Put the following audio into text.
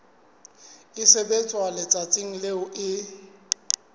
e sebetswa letsatsing leo e